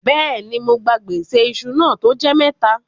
Bẹ́ẹ̀ni, mó gbà gbèsè ìṣù náà tó jẹ́ mẹ́tà.